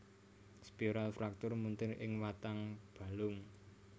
Spiral fraktur muntir ing watang balung